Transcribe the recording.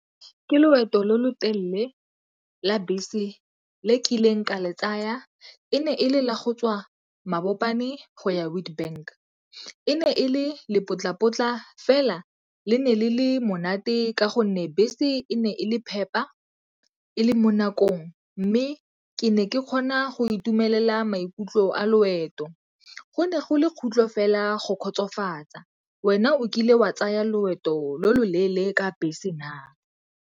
Ke loeto lo lo telele la bese le kileng ka le tsaya. E ne e le la go tswa Mabopane go ya Witbank. E ne e le lepotlapotla fela le ne le le monate ka gonne bese e ne e le phepa, e le mo nakong mme ke ne ke kgona go itumelela maikutlo a loeto. Go ne go le fela go kgotsofatsa. Wena o kile wa tsaya loeto lo lo leele ka bese na?